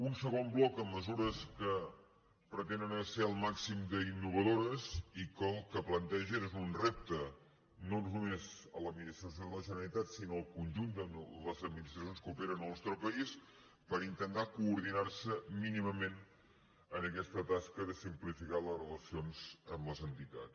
un segon bloc amb mesures que pretenen ser el màxim d’innovadores i que el que plantegen és un repte no només a l’administració de la generalitat sinó al conjunt de les administracions que operen al nostre país per intentar coordinar se mínimament en aquesta tasca de simplificar les relacions amb les entitats